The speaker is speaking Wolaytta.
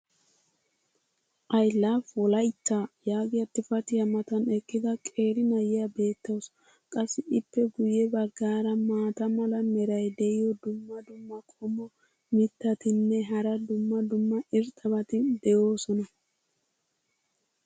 "I LOVE WOLAITA" yaagiya xifatiya matan eqqida qeeri na'iya beetawusu. qassi ippe guye bagaara maata mala meray diyo dumma dumma qommo mitattinne hara dumma dumma irxxabati de'oosona.